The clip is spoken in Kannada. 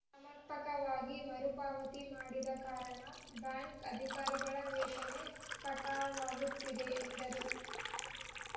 ಸಮರ್ಪಕವಾಗಿ ಮರುಪಾವತಿ ಮಾಡದ ಕಾರಣ ಬ್ಯಾಂಕ್‌ ಅಧಿಕಾರಿಗಳ ವೇತನೇ ಕಟಾವಾಗುತ್ತದೆ ಎಂದರು